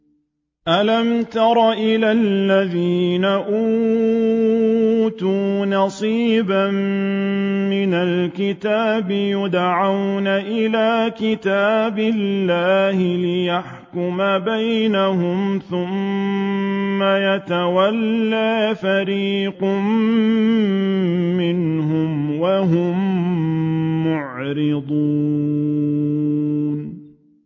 أَلَمْ تَرَ إِلَى الَّذِينَ أُوتُوا نَصِيبًا مِّنَ الْكِتَابِ يُدْعَوْنَ إِلَىٰ كِتَابِ اللَّهِ لِيَحْكُمَ بَيْنَهُمْ ثُمَّ يَتَوَلَّىٰ فَرِيقٌ مِّنْهُمْ وَهُم مُّعْرِضُونَ